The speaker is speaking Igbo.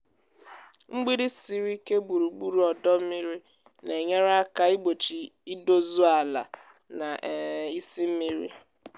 mgbidi siri ike gburugburu ọdọ mmiri na-enyere aka igbochi idozu ala na um isị mmiri.